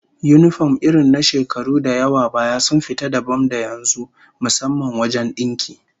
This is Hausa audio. Yinifom irin na shekaru da yawa baya sun fita dabam da yanzu, musamman wajen dinki